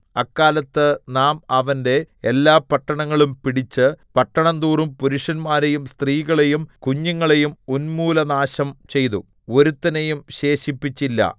അക്കാലത്ത് നാം അവന്റെ എല്ലാ പട്ടണങ്ങളും പിടിച്ച് പട്ടണം തോറും പുരുഷന്മാരെയും സ്ത്രീകളെയും കുഞ്ഞുങ്ങളെയും ഉന്മൂലനാശം ചെയ്തു ഒരുത്തനെയും ശേഷിപ്പിച്ചില്ല